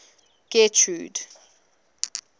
getrude